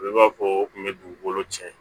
I b'a fɔ o kun bɛ dugukolo cɛn